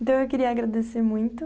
Então, eu queria agradecer muito.